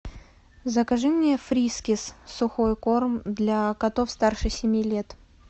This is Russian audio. закажи мне фрискес сухой корм для котов старше семи лет